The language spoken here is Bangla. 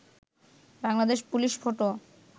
Bangladesh police photo